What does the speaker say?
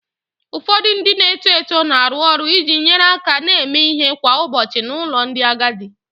Ụfọdụ ndị na-eto eto na-arụ ọrụ iji nyere aka na-eme ihe kwa ụbọchị n'ụlọ ndị agadi